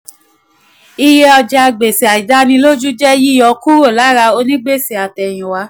iye ọjàgbèsè àìdánilójú jẹ́ yíyọ kúrò lára onígbèsè àtèyìnwá.